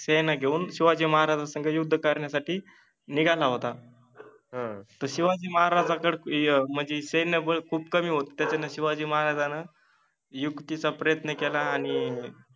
सेना घेऊन शिवाजि महाराजासंग युद्ध करन्यासाठि निघाला होता, ह तर शिवाजि महाराजांतर्फे मनजे सैन्य बळ खुप कमि होत त्याच्यान शिवाजि महाराजान युक्तिचा प्रयत्न केला आणि